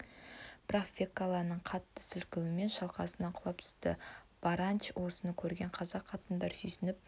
бірақ фекланың қатты сілкуімен шалқасынан құлап түсті барантач осыны көрген қазақ қатындары сүйсініп